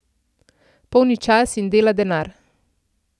Polni čas in dela denar.